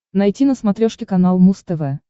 найти на смотрешке канал муз тв